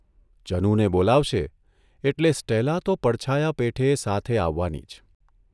જનુને બોલાવશે એટલે સ્ટેલા તો પડછાયા પેઠે સાથે આવવાની જ.